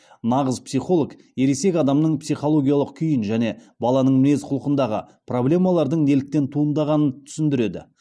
нағыз психолог ересек адамның психологиялық күйін және баланың мінез құлқындағы проблемалардың неліктен туындағанын түсіндіреді